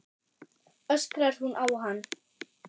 öskrar hún á hann.